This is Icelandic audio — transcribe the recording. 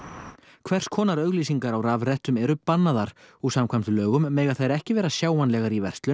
hvers konar auglýsingar á rafrettum eru bannaðar og samkvæmt lögum mega þær ekki vera sjáanlegar í verslun